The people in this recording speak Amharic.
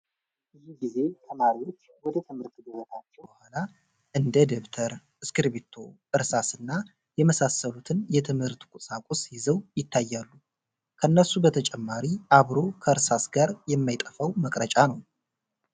ብዙ ጊዜ ተማሪዎች ወደ ትምህርት ገበታቸው ከተመለሱ በኋላ እንደ ደብተር፣ እስኪብርቶ፣ እርሳስ እና የመሳሰሉትን የትምህርት ቁሳቁስ ይዘው ይታያሉ። ከነሱ በተጨማሪ አብሮ ከእርሳስ ጋር የማይጠፋው መቅረጫ ነው።